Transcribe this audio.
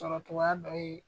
Sɔrɔ togoya dɔ ye